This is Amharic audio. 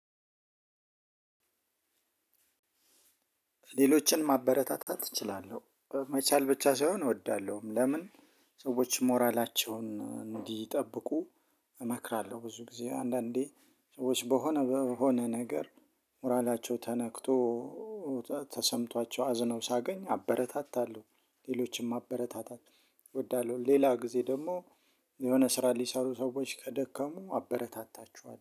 ሌሎችን ማበረታታት እችላለሁ መቻል ብቻ ሳይሆን እወዳለሁም ለምን? ሰዎች ሞራላቸውን እንዲጠብቁ እመክራለሁ። ብዙ ጊዜ አንዳንዴ ሰዎች በሆነ በሆነ ነገር ሞራላቸው ተነክቶ ተሰምቷቸው አዝነው ሳገኝ አበረታታለሁ። ሌሎችም ማበረታታት እወዳለሁ። ሌላ ጊዜ ደግሞ የሆነ ስራ ሊሰሩ ሰዎች ከደከሙ አበረታታችኋል